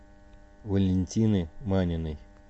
валентины маниной